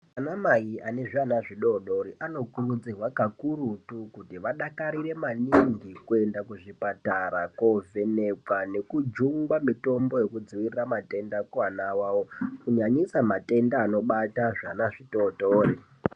Anamai ane zviana zvidoodori anokurudzirwa kakurutu kuti vadakarire maningi kuenda kuzvipatara koovhenekwa nekujungwa mitombo yekudzivirira matenda kuvana vavo. Kunyanyisa matenda anobata zvana zvitootori.